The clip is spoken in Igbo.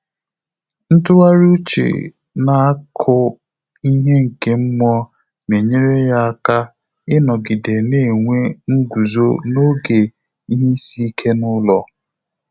Ntụ́ghàrị́ úchè nà ákụ́ íhé nké mmụ́ọ́ nà-ényéré yá áká ị́nọ́gídé nà-ènwé ngụ́zó n’ógè ìhè ísí íké n’ụ́lọ́.